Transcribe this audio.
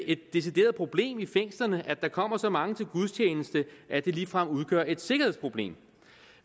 et decideret problem i fængslerne at der kommer så mange til gudstjeneste at det ligefrem udgør et sikkerhedsproblem